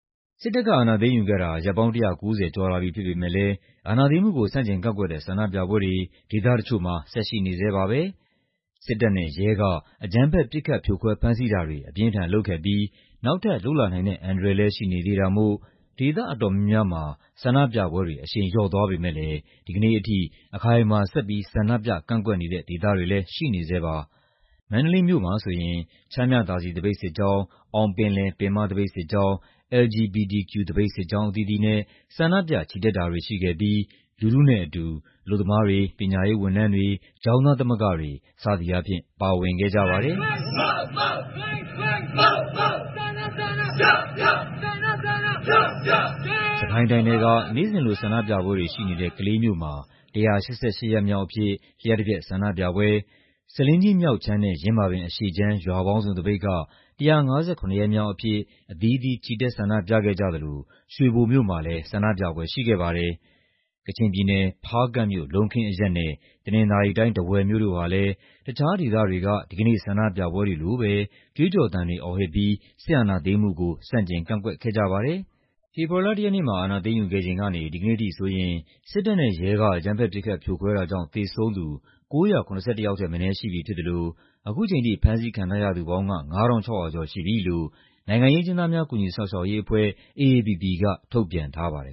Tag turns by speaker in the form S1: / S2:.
S1: စစ်တပ်က အာဏာသိမ်းယူခဲ့တာ ရက်ပေါင်း ၁၉၀ ကျော်လာပြီဖြစ်ပေမယ့်လည်း အာဏာသိမ်းမှုကို ဆန့်ကျင်ကန့်ကွက်တဲ့ ဆန္ဒပြပွဲတွေ ဒေသတချို့မှာ ဆက်ရှိနေဆဲပါပဲ။ စစ်တပ်နဲ့ရဲက အကြမ်းဖက် ပစ်ခတ် ဖြိုခွဲ ဖမ်းဆီးတာတွေ အပြင်းအထန်လုပ်ခဲ့ပြီး နောက်ထပ် လုပ်လာနိုင်တဲ့အန္တရာယ်လည်း ရှိနေသေးတာမို့ ဒေသအတော်များများမှာ ဆန္ဒပြပွဲတွေ အရှိန်လျော့သွားပေမယ့်လည်း ဒီကနေ့အထိ အခိုင်အမာ ဆက်ပြီး နေ့စဉ် ဆန္ဒပြကန့်ကွက်နေတဲ့ ဒေသတွေလည်း ရှိနေဆဲပါ။ မန္တလေးမြို့မှာဆိုရင် ချမ်းမြသာစည် သပိတ်စစ်ကြောင်း၊ အောင်ပငယ်လယ် ပင်မသပိတ်စစ်ကြောင်း၊ LGBTQ သပိတ်စစ်ကြောင်း အသီးသီးနဲ့ ဆန္ဒပြ ချီတက်တာတွေရှိခဲ့ပြီး လူထုနဲပအတူ အလုပ်သမားတွေ၊ ပညာရေးဝန်ထမ်းတွေ၊ ကျောင်းသားသမဂ္ဂတွေ စသည်အားဖြင့် ပါဝင်ခဲ့ကြပါတယ်။ စစ်ကိုင်းတိုင်းထဲက နေ့စဉ်လို ဆန္ဒပြပွဲတွေရှိနေတဲ့ ကလေးမြို့မှာ ၁၈၈ ရက်မြောက်အဖြစ် လ ျှပ်တပျက် ဆန္ဒပြပွဲ၊ ဆားလင်းကြီး မြောက်ခြမ်းနဲ့ ယင်းမာပင် အရှေ့ခြမ်း ရွာပေါင်းစုံသပိတ်က ၁၅၇ ရက်မြောက်အဖြစ် အသီးသီး ချီတက်ဆန္ဒပြခဲ့ကြသလို ရွှေဘိုမြို့မှာလည်း ဆန္ဒပြပွဲရှိခဲ့ပါတယ်။ ကချင်ပြည်နယ်၊ ဖားကန့်မြို့၊ လုံးခင်းအရပ်နဲ့ တနင်္သာရီတိုင်း၊ ထားဝယ်မြို့တို့ ဟာလည်း တခြားဒေသတွေက ဒီကနေ့ဆန္ဒပြပွဲတွေလိုပဲ ကြွေးကျော်သံတွေ အော်ဟစ်ပြီး စစ်အာဏာသိမ်းမှုကို ဆန့်ကျင် ကန့်ကွက်ခဲ့ကြပါတယ်။ ဖေဖော်ဝါရီလ ၁ ရက်နေ့မှာ အာဏာသိမ်းယူခဲ့ချိန်ကနေ မနေ့ကအထိဆိုရင် စစ်တပ်နဲ့ရဲက အကြမ်းဖက် ပစ်ခတ် ဖြိုခွဲတာကြောင့် သေဆုံးသူ ၉၆၈ ယောက်ထက်မနည်း ရှိပြီဖြစ်သလို အခုချိန်ထိ ဖမ်းဆီးခံထားရသူပေါင်းက ၅၅၇၀ ကျော်ရှိပြီလို့ နိုင်ငံရေးအကျဉ်းသားများ ကူညီစောင့်ရှောက်ရေးအဖွဲ့ (AAPP) က ထုတ်ပြန်ထားပါတယ်